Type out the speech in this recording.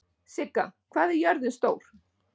Sigga, hvað er jörðin stór?